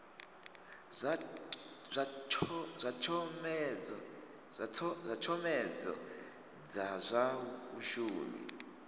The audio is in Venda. zwa tshomedzo dza zwa vhashumi